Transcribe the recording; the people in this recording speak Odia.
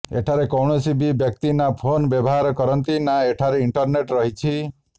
ଏଠାରେ କୌଣସି ବି ବ୍ୟକ୍ତି ନା ଫୋନ୍ ବ୍ୟବହାର କରନ୍ତି ନା ଏଠାରେ ଇଣ୍ଟରନେଟ୍ ରହିଛି